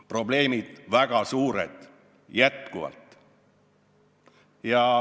Probleemid on endiselt väga suured.